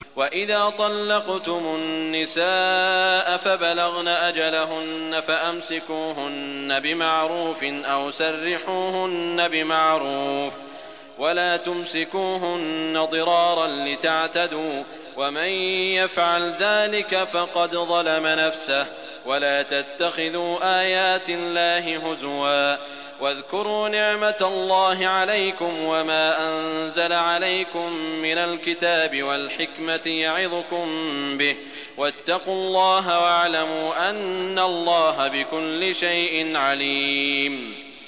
وَإِذَا طَلَّقْتُمُ النِّسَاءَ فَبَلَغْنَ أَجَلَهُنَّ فَأَمْسِكُوهُنَّ بِمَعْرُوفٍ أَوْ سَرِّحُوهُنَّ بِمَعْرُوفٍ ۚ وَلَا تُمْسِكُوهُنَّ ضِرَارًا لِّتَعْتَدُوا ۚ وَمَن يَفْعَلْ ذَٰلِكَ فَقَدْ ظَلَمَ نَفْسَهُ ۚ وَلَا تَتَّخِذُوا آيَاتِ اللَّهِ هُزُوًا ۚ وَاذْكُرُوا نِعْمَتَ اللَّهِ عَلَيْكُمْ وَمَا أَنزَلَ عَلَيْكُم مِّنَ الْكِتَابِ وَالْحِكْمَةِ يَعِظُكُم بِهِ ۚ وَاتَّقُوا اللَّهَ وَاعْلَمُوا أَنَّ اللَّهَ بِكُلِّ شَيْءٍ عَلِيمٌ